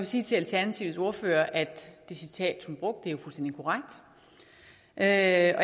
sige til alternativets ordfører at det citat hun brugte er